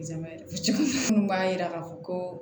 minnu b'a yira k'a fɔ ko